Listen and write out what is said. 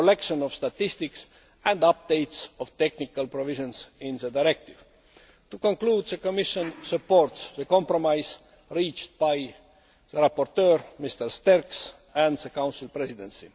collection of statistics and updates of the technical provisions in the directive. To conclude, the Commission supports the compromise reached by the rapporteur, Mr Sterckx, and the Council Presidency.